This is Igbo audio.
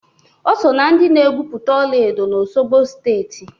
O soo na ndị na-egupụta ola edo na Osogbo Steeti